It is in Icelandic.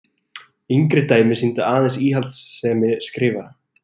Yngri dæmi sýndu aðeins íhaldssemi skrifara.